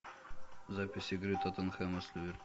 запись игры тоттенхэма с